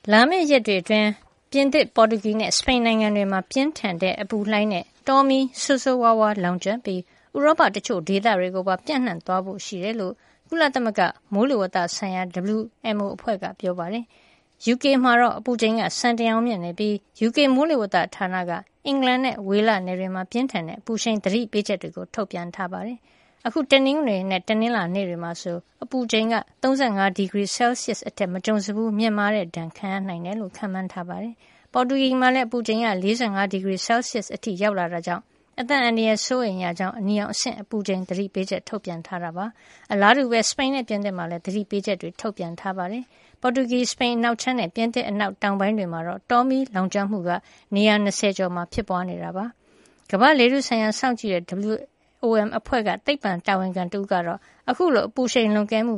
လာမယ့်ရက်တွေအတွင်း ပြင်သစ်၊ ပေါ်တူဂီနဲ့ စပိန်နိုင်ငံတွေမှာ ပြင်းထန်တဲ့အပူလှိုင်းနဲ့ တောမီး ဆိုးဆိုးဝါးဝါး လောင်ကျွမ်းပြီး ဥရောပ တချို့ဒေသတွေကိုပါ ပျံ့နှံသွားဖို့ ရှိတယ်လို့ ကုလသမဂ္ဂမိုးလေဝဿအဖွဲ့ WMO က ပြောပါတယ်။ UK မှာတော့ အပူချိန်က စံချိန်တင်အောင်မြင့်မားနေပြီး UK မိုးလေဝဿဌာနက အင်္ဂလန်နဲ့ ဝေလနယ်တွေမှာ ပြင်းထန်တဲ့အပူရှိန် သတိပေးချက်ထုတ်ပြန်ထားပါတယ်။ အခု တနင်္ဂနွေ နဲ့ တနင်္လာနေ့တွေမှာဆို အပူချိန် ၃၅ ဒီဂရီ စဲလ်ဆီးယပ်စ် အထက် မကြုံစဖူး မြင့်မားတဲ့အပူဒဏ် ခံရနိုင်တယ်လို့ခန့်မှန်းထားတာပါ။ ပေါ်တူဂီမှာလည်း အပူချိန် ၄၅ ဒီဂရီ စဲလ်ဆီးယပ်စ် အထိရောက်လာတဲ့အတွက် အသက်အန္တရာယ် စိုးရိမ်ရကြောင်း အနီရောင်အဆင့် အပူချိန် သတိပေးချက်ထုတ်ပြန်ထားပါတယ်။ အလားတူပဲ စပိန်နဲ့ ပြင်သစ်မှာလည်း သတိပေးချက်တွေ ထုတ်ပြန်ထားပါတယ်။ ပေါ်တူဂီ၊ စပိန်အနောက်ခြမ်းနဲ့ ပြင်သစ် အနောက်တောင်ပိုင်း တွေမှာတော့ တောမီးလောင်ကျွမ်းမှု နေရာ ၂၀ ကျော်မှာဖြစ်ပွါးနေတာပါ။ ကမ္ဘာ့လေထုဆိုင်ရာ စောင့်ကြည့်နေတဲ့ WOM အဖွဲ့က သိပ္ပံဆိုင်ရာတာဝန်ခံတဦးဖြစ်တဲ့ Lorenzo Labrador ကတော့ အခုလို အပူရှိန်လွန်ကဲမှု